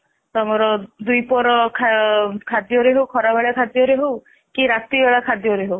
ତମର ଦୁଇ ପ୍ରହାର ଖରା ବେଳ ଖାଦ୍ଯରେ ହଉ କି ରାତି ବେଳା ଖାଦ୍ଯରେ ହଉ